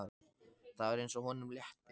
Það var eins og honum létti.